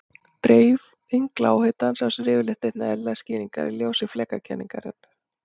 Dreifing lághitans á sér yfirleitt einnig eðlilegar skýringar í ljósi flekakenningarinnar.